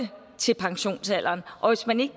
til pensionsalderen og hvis man ikke